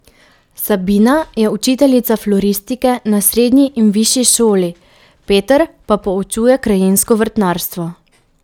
Sabina je učiteljica floristike na srednji in višji šoli, Peter pa poučuje krajinsko vrtnarstvo.